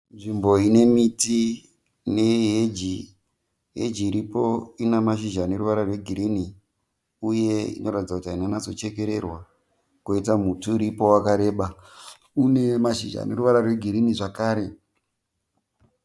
Nzvimbo ine miti neheji. Heji iripo ine mashizha ane ruvara rwegirinhi uye inoratidza kuti haina kunyatsochekererwa kwoita muti uripo wakareba une mashizha ane ruvara rwegirinhi zvakare.